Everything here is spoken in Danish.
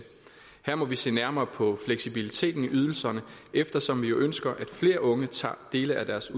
her må vi se nærmere på fleksibiliteten i ydelserne eftersom vi jo ønsker at flere unge tager dele af deres